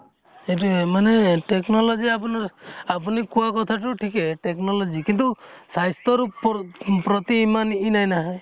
সেইটোৱে মানে technology আপোনাৰ, আপুনি কোৱা কথা তো ঠিকেই technology, কিন্তু স্বাস্থ্য় ৰ ওপৰত, প্ৰতি ইমান নাহে ।